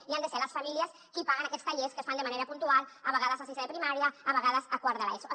i han de ser les famílies qui paguen aquests tallers que es fan de manera puntual a vegades a sisè de primària a vegades a quart de l’eso